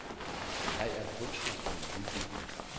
Jeg er kunstner og yogi.